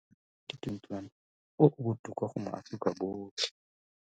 Ngwaga wa 2021 o o botoka go maAforika Borwa otlhe